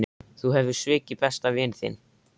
Þú hefur svikið besta vin þinn.